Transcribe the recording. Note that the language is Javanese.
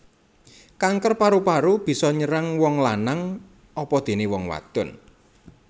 Kanker paru paru bisa nyerang wong lanang apadené wong wadon